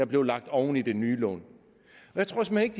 bliver lagt oven i den nye lån jeg tror såmænd ikke